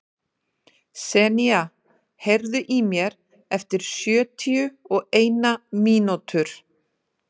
Senía, heyrðu í mér eftir sjötíu og eina mínútur.